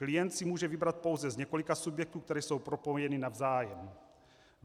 Klient si může vybrat pouze z několika subjektů, které jsou propojeny navzájem.